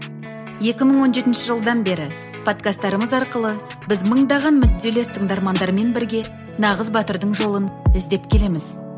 екі мың он жетінші жылдан бері подкасттарымыз арқылы біз мыңдаған мүдделес тыңдармандардармен бірге нағыз батырдың жолын іздеп келеміз